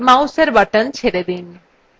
mouseএর button ছেড়ে দিন